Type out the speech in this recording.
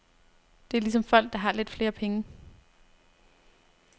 Det er ligesom folk, der har lidt flere penge.